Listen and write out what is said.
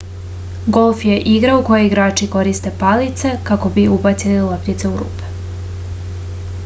golf je igra u kojoj igrači koriste palice kako bi ubacili loptice u rupe